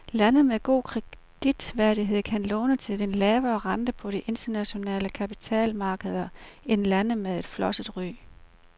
Lande med god kreditværdighed kan låne til en lavere rente på de internationale kapitalmarkeder end lande med flosset ry.